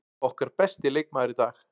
Okkar besti leikmaður í dag.